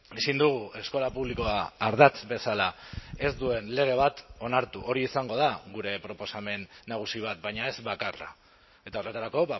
ezin dugu eskola publikoa ardatz bezala ez duen lege bat onartu hori izango da gure proposamen nagusi bat baina ez bakarra eta horretarako